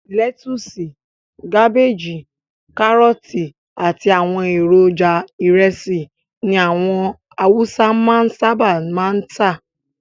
Lẹ́tusì, kábéjì, kárọ́tì àti àwọn èròjà ìrẹsì ni àwọn awúsá máa ń sábà máa ń tà.